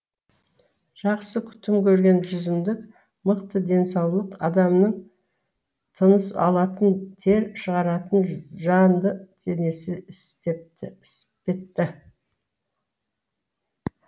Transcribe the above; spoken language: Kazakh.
жақсы күтім көрген жүзімдік мықты денсаулық адамның тыныс алатын тер шығаратын жанды денесі іспетті